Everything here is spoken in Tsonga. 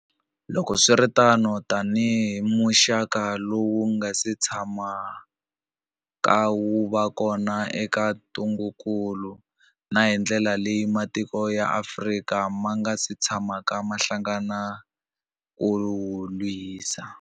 Loko swi ri tano, tanihi muxaka lowu wu nga si tshamaka wu va kona wa ntungukulu, na hi ndlela leyi matiko ya Afrika ma nga si tshamaka ma hlangana ku wu lwisa.